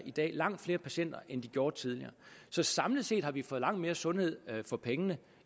langt flere patienter end de gjorde tidligere så samlet set har vi fået langt mere sundhed for pengene